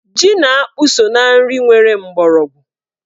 Ji na akpụ so na nri nwere mgbọrọgwụ.